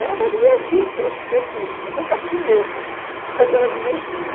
E era até divertido se eu ouvia aquilo, depois eu ficava com medo, mas era divertido.